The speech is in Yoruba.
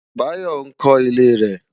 Bayo nkò ilé rè